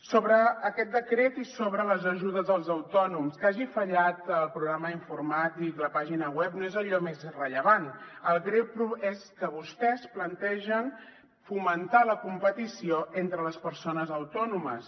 sobre aquest decret i sobre les ajudes als autònoms que hagi fallat el programa informàtic la pàgina web no és allò més rellevant el greu és que vostès plantegen fomentar la competició entre les persones autònomes